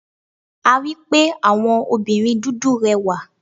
A rí pé àwọn obìnrin dúdú rẹwà.